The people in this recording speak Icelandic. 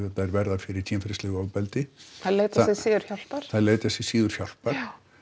verða fyrir kynferðislegu ofbeldi þeir leita sér síður hjálpar þeir leita sér síður hjálpar